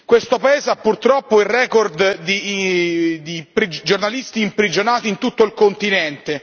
Questo paese ha purtroppo il record di giornalisti imprigionati in tutto il continente.